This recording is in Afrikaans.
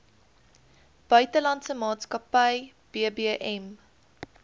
buitelandse maatskappy bbm